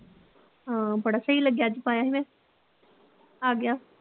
ਹਾਂ ਬੜਾ ਸਹੀ ਲੱਗਿਆ ਅੱਜ ਪਾਇਆ ਸੀ ਮੈਂ ਆ ਗਿਆ